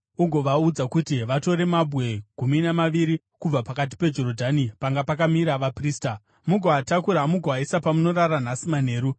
Ugovaudza kuti vatore mabwe gumi namaviri kubva pakati peJorodhani panga pakamira vaprista chaipo, mugoatakura mugoaisa pamunorara nhasi manheru.”